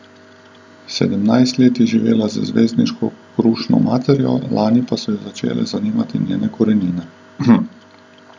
Sedemnajst let je živela z zvezdniško krušno materjo, lani pa so jo začele zanimati njene korenine.